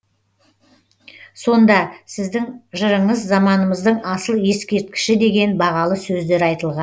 сонда сіздің жырыңыз заманымыздың асыл ескерткіші деген бағалы сөздер айтылған